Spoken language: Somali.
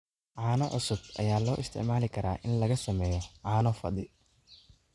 Caano cusub ayaa loo isticmaali karaa in laga sameeyo caano fadhi.